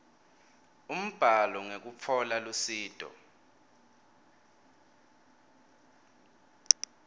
umbhalo ngekutfola lusito